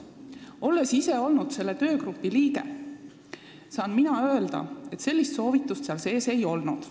Olles ise olnud selle töögrupi liige, saan ma öelda, et sellist soovitust seal ei olnud.